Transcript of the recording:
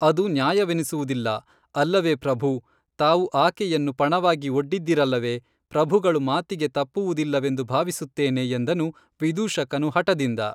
ಅದು ನ್ಯಾಯವೆನಿಸುವುದಿಲ್ಲ ಅಲ್ಲವೇ ಪ್ರಭೂ ತಾವು ಆಕೇಯನ್ನು ಪಣವಾಗಿ ಒಡ್ಡಿದ್ದಿರಲ್ಲವೇ ಪ್ರಭುಗಳು ಮಾತಿಗೆ ತಪ್ಪುವುದಿಲ್ಲವೆಂದು ಭಾವಿಸುತ್ತೇನೆ ಎಂದನು ವಿದೂಷಕನು ಹಠದಿಂದ